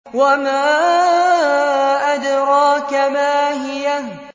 وَمَا أَدْرَاكَ مَا هِيَهْ